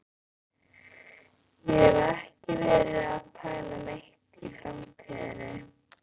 Ég hef ekki verið að pæla neitt í framtíðinni.